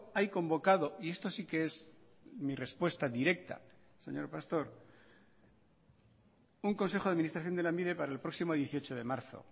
hay convocado y esto sí que es mi respuesta directa señor pastor un consejo de administración de lanbide para el próximo dieciocho de marzo